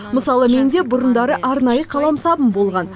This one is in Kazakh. мысалы менде бұрындары арнайы қаламсабым болған